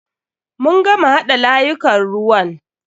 Mun gama haɗa layukan ruwan.